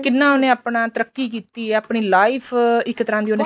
ਕਿੰਨਾ ਉਹਨੇ ਆਪਣਾ ਤਰਕੀ ਕੀਤੀ ਏ ਆਪਣੀ life ਇੱਕ ਤਰ੍ਹਾਂ ਦੀ ਉਹਨੇ